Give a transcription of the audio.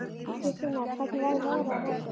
Kristine, hvernig verður veðrið á morgun?